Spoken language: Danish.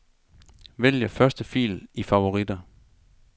Vælg første fil i favoritter.